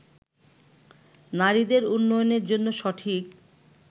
নারীদের উন্নয়নের জন্য সঠিক